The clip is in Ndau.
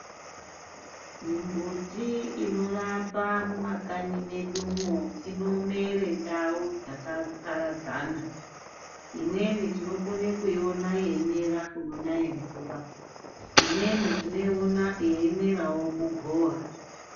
Mimbuti inorapa mumakanyi medumwo inomere ndau dzakaparadzana. Imweni tinokone kuiona yeimera kunonaye mvura, imweni tinoiona yeimerawo kugova.